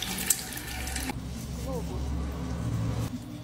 глобус